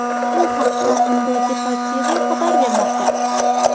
Bu haqda Mundo Deportivo xabar bermoqda.